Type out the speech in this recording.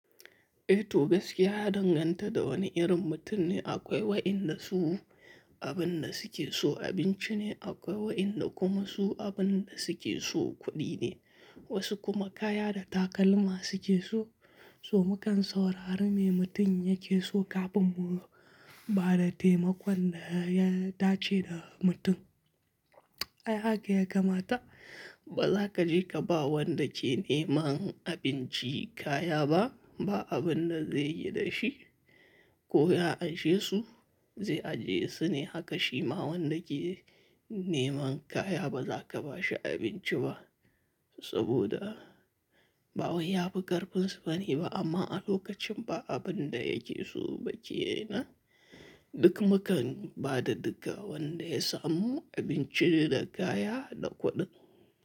Eh to gaskiya ya danganta da wani irin mutum ne. Akwai waɗanda su abin da suke so abinci ne, akwai waɗanda kuma su abin da suke so kuɗi ne, wasu kuma kaya da takalma suke so. So mukan saurari me mutum yake so kafin mu ba da taimakon da ya dace da mutum. Ai haka ya kamata. Ba za ka je ka ba wanda ke neman abinci kaya ba, ba abin da zaiyi da shi ko ya anshe su zai ajiye su ne. Haka shi ma wanda ke neman kaya ba za ka ba shi abinci ba saboda ba wai yafi karfinsu bane ba. Amma a lokacin ba abin da yake so ba kenan duk mukan ba da duk wanda ya samu abinci da kaya da kuɗi.